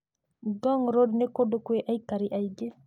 Ngong Road nĩ kũndũ kwĩ aikari aingĩ.